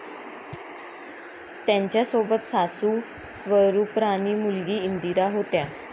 त्यांच्यासोबत सासू स्वरूपराणी, मुलगी इंदिरा होत्या.